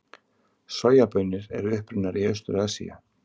Sojabaunir eru upprunnar í Austur-Asíu.